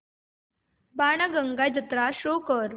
बाणगंगा जत्रा शो कर